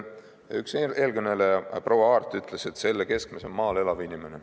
Üks eelkõneleja, proua Aart, ütles, et selle keskmes on maal elav inimene.